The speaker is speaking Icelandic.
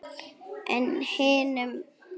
En hinum?